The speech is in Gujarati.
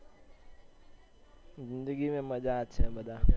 જિંદગી મેં મજા જ છે મજા